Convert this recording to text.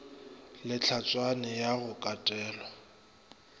le hlatswana ya go katelwa